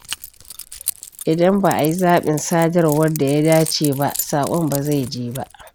Idan ba a yi zabin sadarwar da ya dace ba, saƙon ba zai je ba.